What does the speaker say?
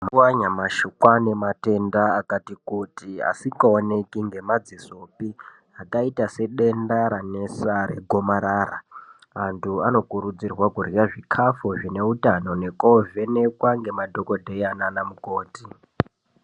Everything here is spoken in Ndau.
Mazuwa anyamashi kwaane matenda akati kuti, asikaoneki ngemadzisopi, akaita sedenda ranesa regomarara. Antu anokurudzirwa kurya zvikhafu zvine utano nekoovhenekwa nemadhokodheya naanamukoti.